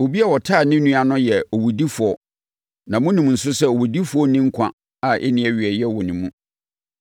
Obi a ɔtan ne nua no yɛ owudifoɔ na monim nso sɛ owudifoɔ nni nkwa a ɛnni awieeɛ wɔ ne mu.